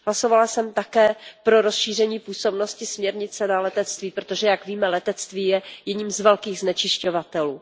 Hlasovala jsem také pro rozšíření působnosti směrnice na letectví, protože jak víme, letectví je jedním z velkých znečišťovatelů.